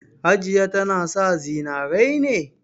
Hajiya tana sa zinare ne?